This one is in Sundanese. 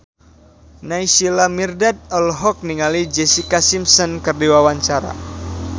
Naysila Mirdad olohok ningali Jessica Simpson keur diwawancara